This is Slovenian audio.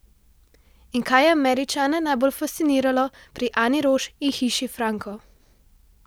In kaj je Američane najbolj fasciniralo pri Ani Roš in Hiši Franko?